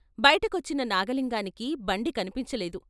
బయటకొచ్చిన నాగలింగానికి బండి కన్పించలేదు.